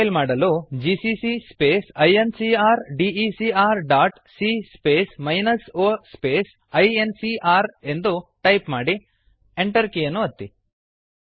compile ಮಾಡಲು GCC space incrdecrಸಿಎ space o space ಇನ್ಕಾರ್ GCC space I N C R D E C R dot C space minus O space I N C R ಎಂದು type ಮಾಡಿ Enter ಕೀಯನ್ನು ಒತ್ತಿ